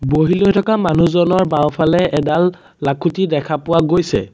বহি লৈ থকা মানুহজনৰ বাওঁফালে এডাল লাখুঁটি দেখা পোৱা গৈছে।